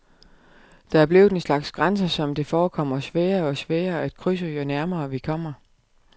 Det er blevet en slags grænse, som det forekommer sværere og sværere at krydse, jo nærmere vi kommer.